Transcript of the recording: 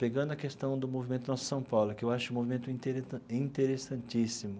Pegando a questão do movimento Nossa São Paulo, que eu acho um movimento intere interessantíssimo,